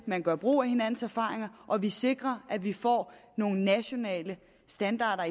man gør brug af hinandens erfaringer og vi skal sikre at vi får nogle nationale standarder